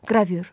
Qravür.